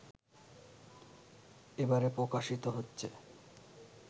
এবারে প্রকাশিত হচ্ছে